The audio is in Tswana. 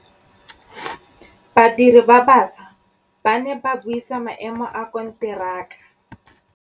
Badiri ba baša ba ne ba buisa maêmô a konteraka.